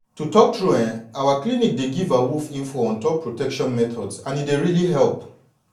to talk true eh our clinic dey give awoof info on top protection methods and e dey really help